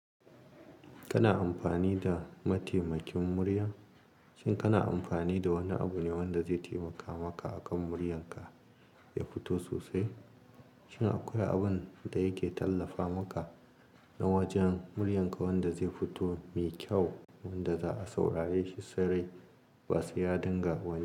Kana amfani da mataimakin murya? Shin kana amfani da wani abu ne wanda zai taimaka maka akan muryanka ya fito sosai? Shin akwai abun da yake tallafa maka na wajen muryanka wanda zai fito mai kyau wanda za a saurare shi sarai ba sa ya dinga wani.